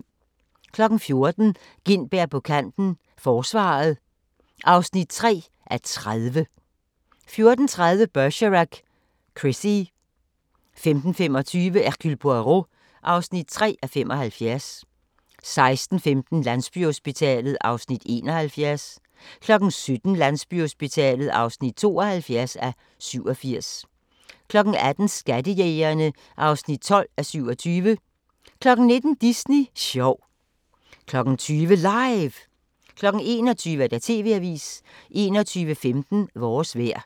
14:00: Gintberg på kanten - forsvaret (3:30) 14:30: Bergerac: Chrissie 15:25: Hercule Poirot (3:75) 16:15: Landsbyhospitalet (71:87) 17:00: Landsbyhospitalet (72:87) 18:00: Skattejægerne (12:27) 19:00: Disney sjov 20:00: LIVE 21:00: TV-avisen 21:15: Vores vejr